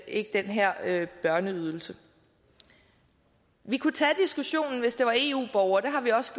ikke den her børneydelse vi kunne tage diskussionen hvis det var eu borgere det har vi også